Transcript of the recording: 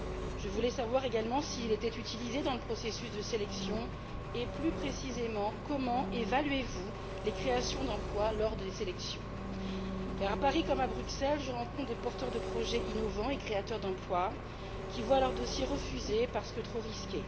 Je voulais savoir également s'il était utilisé dans le processus de sélection et, plus précisément, comment vous évaluez les créations d'emplois lors des sélections, car, à Paris comme à Bruxelles, je rencontre des porteurs de projets innovants et créateurs d'emplois qui voient leur dossier refusé parce que trop risqué.